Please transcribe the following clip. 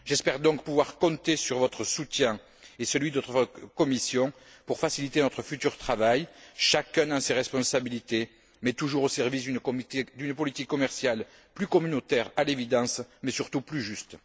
J'espère donc pouvoir compter sur votre soutien et celui de votre Commission pour faciliter notre futur travail, chacun dans ses responsabilités, mais toujours au service d'une politique commerciale plus communautaire, à l'évidence, mais surtout plus juste.